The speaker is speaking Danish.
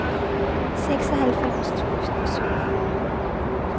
seksoghalvfems tusind og syvogfyrre